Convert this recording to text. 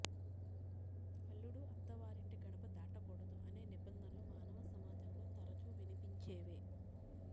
అల్లుడు అత్త వారింటి గడప దాటకూడదు అనే నిబంధనలు మానవ సమాజంలో తరచూ వినపించేవే